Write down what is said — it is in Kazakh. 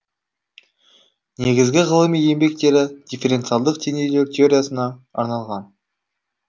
негізгі ғылыми еңбектері дифференциалдық теңдеулер теориясына арналған